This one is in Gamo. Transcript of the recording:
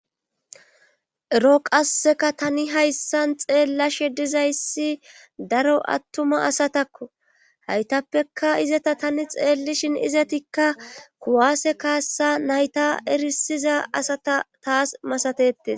Ero qasseka tani hayssan xeellashe dizayssi daro attuma asatakko haytappeka izata tani xeellishin izatikka kuwaase kaassa nayta erisiza asata taas masatetes.